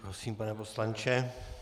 Prosím, pane poslanče.